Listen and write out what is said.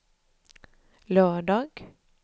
lördag